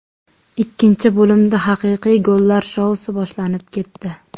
Ikkinchi bo‘limda haqiqiy gollar shousi boshlanib ketdi.